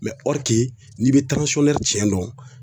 n'i bɛ tiɲɛ dɔn.